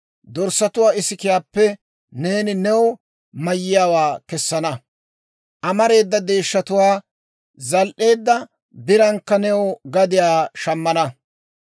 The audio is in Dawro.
dorssatuwaa isikiyaappe neeni new mayiyaawaa kessana; amareeda deeshshatuwaa zal"eedda birankka new gadiyaa shammana.